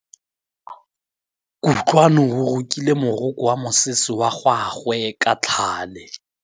Kutlwanô o rokile morokô wa mosese wa gagwe ka tlhale.